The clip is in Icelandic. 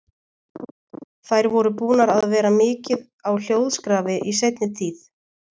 Þær voru búnar að vera mikið á hljóðskrafi í seinni tíð.